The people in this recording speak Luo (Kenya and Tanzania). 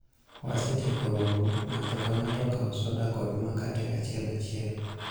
wasetieko romo , ng'ato ka ng'ato okaw soda kod makate achiel achiel